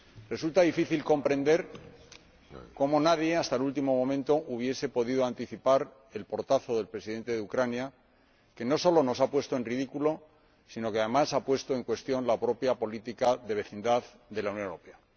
Resulta difícil comprender que nadie, hasta el último momento, haya podido anticipar el portazo del Presidente de Ucrania, que no solo nos ha puesto en ridículo, sino que, además, ha puesto en cuestión la propia política de vecindad de la Unión Europea.